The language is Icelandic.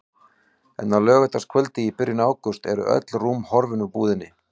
En á laugardagskvöldi í byrjun ágúst eru öll rúm horfin úr búðinni.